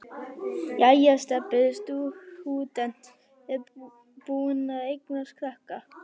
Jæja er Stebbi stúdent búinn að eignast krakka?